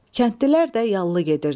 Kəndlilər də yallı gedirdilər.